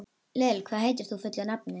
Lill, hvað heitir þú fullu nafni?